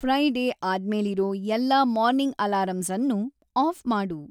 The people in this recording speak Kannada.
ಫ್ರೈಡೇ ಆದ್ಮೇಲಿರೋ ಎಲ್ಲಾ ಮಾರ್ನಿಂಗ್‌ ಅಲಾರಂಸನ್ನೂ ಆಫ್‌ ಮಾಡು